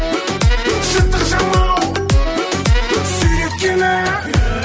жыртық жамау сүйреткені